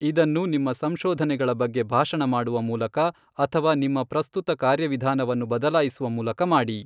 ಇದನ್ನು ನಿಮ್ಮ ಸಂಶೋಧನೆಗಳ ಬಗ್ಗೆ ಭಾಷಣ ಮಾಡುವ ಮೂಲಕ ಅಥವಾ ನಿಮ್ಮ ಪ್ರಸ್ತುತ ಕಾರ್ಯವಿಧಾನವನ್ನು ಬದಲಾಯಿಸುವ ಮೂಲಕ ಮಾಡಿ.